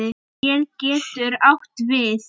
Skel getur átt við